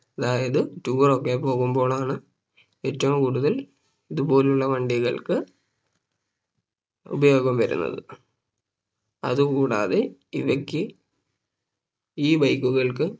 അതായത് Tour ഒക്കെ പോകുമ്പോളാണ് ഏറ്റവും കൂടുതൽ ഇതുപോലെ ഉള്ള വണ്ടികൾക്ക് ഉപയോഗം വരുന്നത് അത് കൂടാതെ ഇവയ്ക്ക് ഈ Bike കൾക്ക്